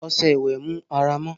ọsẹ ìwe mú àrà mọ